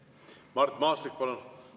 Mart Maastik, palun!